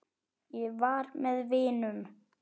Ég var með vinum.